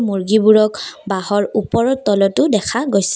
মুৰ্গীবোৰক বাঁহৰ ওপৰত তলতো দেখা গৈছে।